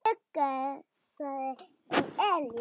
Hann hugsaði um Elísu.